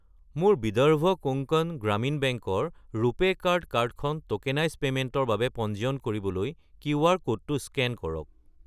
মোৰ বিদৰ্ভ কোংকণ গ্ৰামীণ বেংক ৰ ৰুপে কাৰ্ড কাৰ্ডখন ট'কেনাইজ্ড পে'মেণ্টৰ বাবে পঞ্জীয়ন কৰিবলৈ কিউআৰ ক'ডটো স্কেন কৰক।